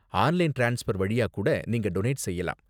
Online transfer வழியா கூட நீங்க டொனேட் செய்யலாம்.